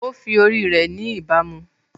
Ó fi ori rẹ̀ ni ìbámu